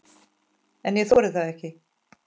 En ég þori það ekki.